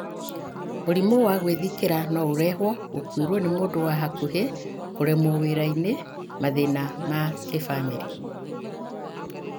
Mũrimũ wa gwĩthikĩra no ũrehwo gũkuĩrũo nĩ mũndũ wa hakuhĩ, kũremwo wĩra-inĩ, mathĩna ma kĩbamĩrĩ.